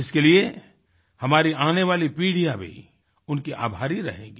इसके लिए हमारी आने वाली पीढ़ियाँ भी उनकी आभारी रहेंगी